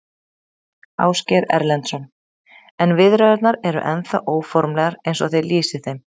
Ásgeir Erlendsson: En viðræðurnar eru ennþá óformlegar eins og þið lýsið þeim?